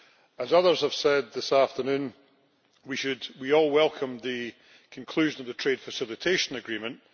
As others have said this afternoon, we all welcome the conclusion of the Trade Facilitation Agreement.